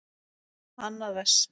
Annað vers.